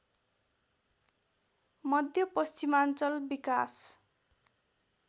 मध्यपश्चिमाञ्चल विकास